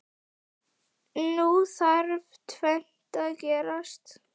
Nú þarf tvennt að gerast.